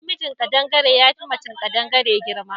Na mijin kaɗangare yafi macen kadangare girma